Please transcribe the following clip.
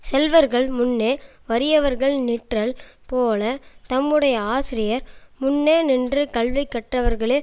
செல்வர்கள் முன்னே வறியவர்கள் நிற்றல் போல தம்முடைய ஆசிரியர் முன்னே நின்று கல்வி கற்றவர்களே